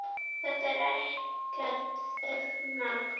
Þetta er okkar stefna.